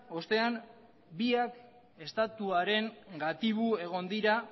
ostean biak estatuaren gatibu egon dira